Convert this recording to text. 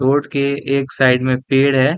Road के एक side में पेड़ है।